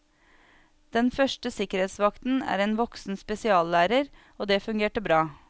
Den første sikkerhetsvakten er en voksen spesiallærer, og det fungerte bra.